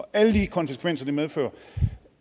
alle de konsekvenser det medfører